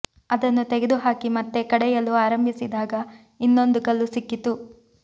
ಅದನ್ನು ತೆಗೆದು ಹಾಕಿ ಮತ್ತೆ ಕಡೆಯಲು ಆರಂಭಿಸಿದಾಗ ಇನ್ನೊಂದು ಕಲ್ಲು ಸಿಕ್ಕಿತು